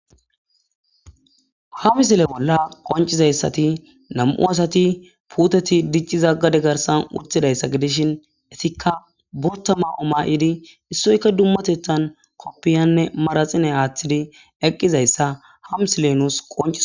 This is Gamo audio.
Ha misile bolla qonccidaza izati nam'u asati puuteti diccizaga gade garsan uttida isa gidishin izikka botta mayo mayidi issoyika dumatettan qobbiyanne manaatstsine aattidi eqqiza isa ha misile nusi qonccises.